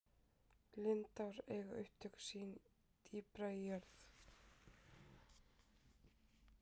lindár eiga upptök sín dýpra í jörð